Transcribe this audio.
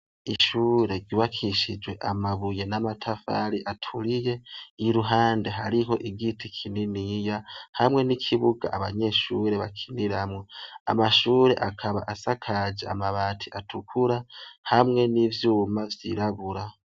Ishure ry'ubakishije amabuye n'amatafari aturiye, iruhande hariho igiti kininiya hamwe n'ikibuga abanyeshure bakiniramwo. Amashure akaba asakaje amabati atukura hamwe n'ivyuma vy'irabura.